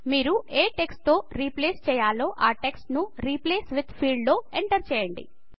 మీరు ఏ టెక్స్ట్ తో రీప్లేస్ చేయాలో ఆ టెక్స్ట్ ను రిప్లేస్ విత్ ఫీల్డ్ లో ఎంటర్ చేయండి